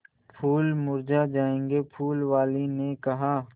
फूल मुरझा जायेंगे फूल वाली ने कहा